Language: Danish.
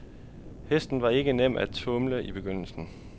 Hesten var ikke nem at tumle i begyndelsen.